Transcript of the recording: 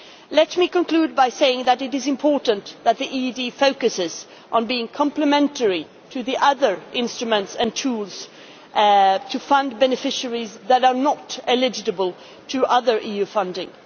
Let me conclude by saying that it is important that the EED focuses on being complementary to the other instruments and tools to fund beneficiaries that are not eligible for other EU funding.